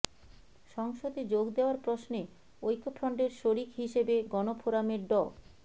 সংসদে যোগ দেয়ার প্রশ্নে ঐক্যফ্রন্টের শরিক হিসেবে গণফোরামের ড